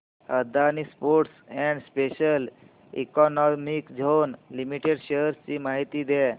Adani ports and special economic zone limited shares ची माहिती द्या